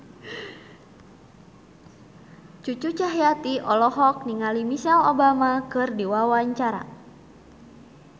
Cucu Cahyati olohok ningali Michelle Obama keur diwawancara